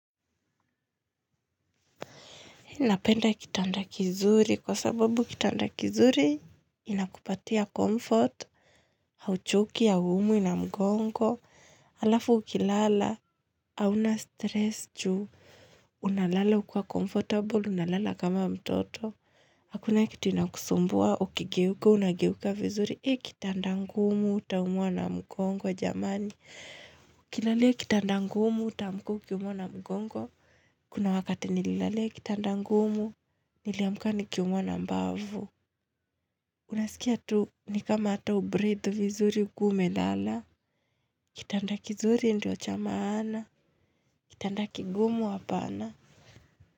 Napenda kitanda kizuri kwa sababu kitanda kizuri inakupatia comfort, hauchoki, haumwi na mgongo, alafu ukilala, hauna stress juu, unalala ukua comfortable, unalala kama mtoto. Hakuna kitu inakusumbua, ukigeuka, unageuka vizuri, ee kitanda ngumu, uta umwa na mgongo jamani. Ukilalia kitanda ngumu, utaamka ukiumwa na mgongo. Kuna wakati nililalea kitanda ngumu, niliamuka ni kiumuwa na mbavu. Unasikia tu, nikama ata hubreath vizuri, ukiwa ume lala. Kitanda kizuri ndio cha maana. Kitanda kigumu hapana.